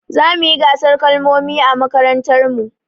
Zamuyi gasar kalmomi a mmakarantar mu